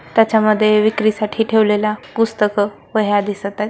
त्याच्यामध्ये विक्रीसाठी ठेवलेल्या पुस्तक वह्या दिसत आहे.